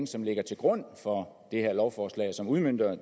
som ligger til grund for det her lovforslag og som udmønter